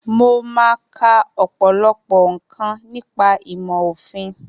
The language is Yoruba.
Mo máa ka ọ̀pọ̀lọpọ̀ nǹkan nípa ìmọ̀ òfin